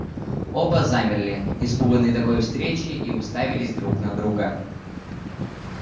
оба замерли испуганные такой встречей и уставились друг на друга